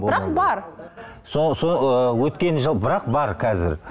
бірақ бар өткен жыл бірақ бар қазір